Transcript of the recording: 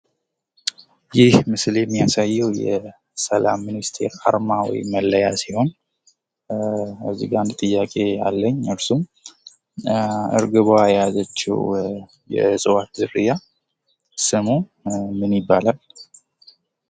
ይህ ምስል የሚያሳየው የሰላም ሚኒስቴር አርማ ወይም መለያ ሲሆን እዚጋ እንድ ጥያቄ አለኝ እርግቧ የያዛቸው የእፅዋት ዝርያ ምን ይባላል?